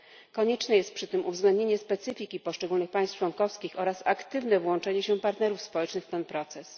Konieczne jest przy tym uwzględnienie specyfiki poszczególnych państw członkowskich oraz aktywne włączenie się partnerów społecznych w ten proces.